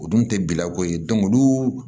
O dun tɛ bilako ye olu